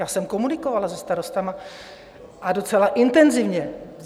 Já jsem komunikovala se starosty, a docela intenzivně.